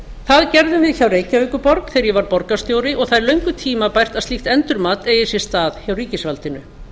það gerðum við hjá reykjavíkurborg þegar ég var borgarstjóri og það er löngu tímabært að slíkt endurmat eigi sér stað hjá ríkisvaldinu